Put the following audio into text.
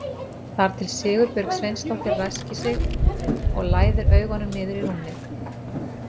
Þar til Sigurbjörg Sveinsdóttir ræskir sig og læðir augunum niður í rúmið.